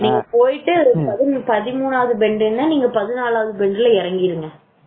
நீங்க பொய்ட்டு பதிமுனாவது பெண்டுன நீங்க பதினலவாது பெண்டில இறங்கிடுங்க